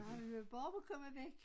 Nej men det var bare om at komme væk